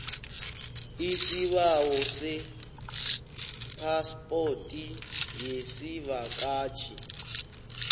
isibawo sephaspoti yesivakatjhi